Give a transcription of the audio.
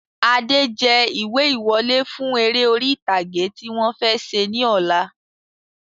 Adé jẹ ìwé ìwọlé fún eré orí ìtàgé tí wọ̀n fẹ́ ṣe ní ọ̀la